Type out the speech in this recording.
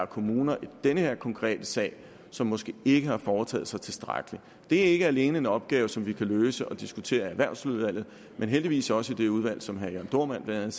kommuner i denne konkrete sag som måske ikke har foretaget sig tilstrækkeligt det er ikke alene en opgave som vi kan løse og diskutere i erhvervsudvalget men heldigvis også i det udvalg som herre jørn dohrmann blandt